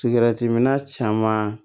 Sigɛrɛtiminna caman